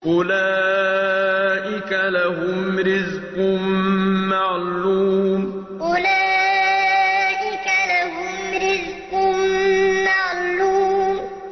أُولَٰئِكَ لَهُمْ رِزْقٌ مَّعْلُومٌ أُولَٰئِكَ لَهُمْ رِزْقٌ مَّعْلُومٌ